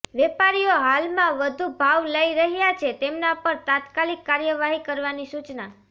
વેપારીઓ હાલમાં વધુ ભાવ લઈ રહ્યા છે તેમના પર તાત્કાલિક કાર્યવાહી કરવાની સૂચના